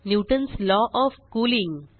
Newton's law of cooling